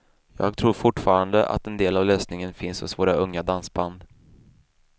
Jag tror fortfarande att en del av lösningen finns hos våra unga dansband.